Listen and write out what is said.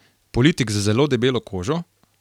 Politik z zelo debelo kožo?